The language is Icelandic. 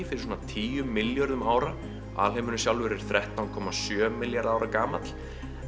fyrir svona tíu milljörðum ára alheimurinn sjálfur er þrettán komma sjö milljarðar ára gamall